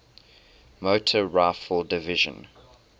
motor rifle division